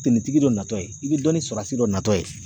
Tenitigi dɔ natɔ ye i bi dɔ ni surasi dɔ natɔ ye